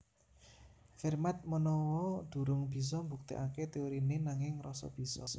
Fermat manawa durung bisa mbuktèkaké téoriné nanging ngrasa bisa